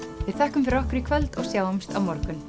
við þökkum fyrir okkur í kvöld og sjáumst á morgun